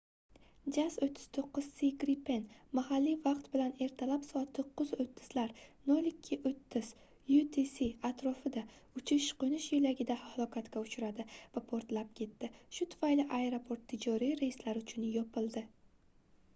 jas 39c gripen mahalliy vaqt bilan ertalab soat 9:30 lar 0230 utc atrofida uchish-qo'nish yo'lagida halokatga uchradi va portlab ketdi shu tufayli aeroport tijoriy reyslar uchun yopildi